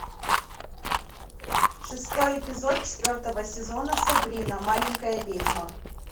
шестой эпизод четвертого сезона сабрина маленькая ведьма